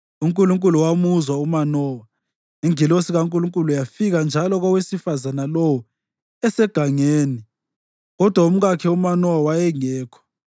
UNkulunkulu wamuzwa uManowa, ingilosi kaNkulunkulu yafika njalo kowesifazane lowo esegangeni; kodwa umkakhe uManowa wayengekho.